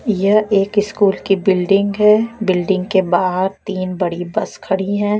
यह एक इस्कूल की बिल्डिंग है बिल्डिंग के बाहर तीन बड़ी बस खड़ी हैं।